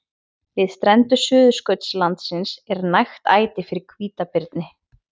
Við strendur Suðurskautslandsins er nægt æti fyrir hvítabirni.